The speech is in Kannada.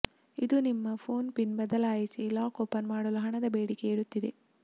ಇದು ನಿಮ್ಮ ಫೋನ್ ಪಿನ್ ಬದಲಾಯಿಸಿ ಲಾಕ್ ಓಪನ್ ಮಾಡಲು ಹಣದ ಬೇಡಿಕೆಯಿಡುತ್ತಿದೆ